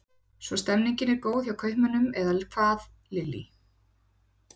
Svo stemningin er góð hjá kaupmönnum eða hvað Lillý?